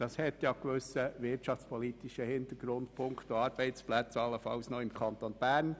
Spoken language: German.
Damit hat man einen gewissen wirtschaftspolitischen Hintergrund und allenfalls Arbeitsplätze im Kanton Bern.